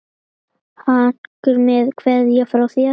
Haukur með kveðju frá þér.